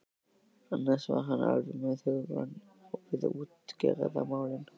Annars var hann alveg með hugann við útgerðarmálin.